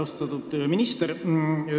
Austatud minister!